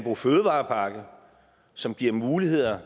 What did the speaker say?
og fødevarepakke som giver muligheder